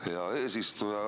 Hea eesistuja!